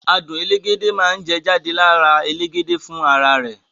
Àádùn elégédé máa ni jade lára elégédé fún ara rẹ.